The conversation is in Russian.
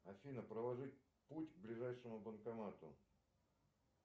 афина проложить путь к ближайшему банкомату